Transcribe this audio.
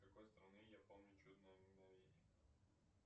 какой страны я помню чудное мгновение